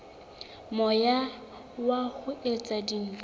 moya wa ho etsa dintho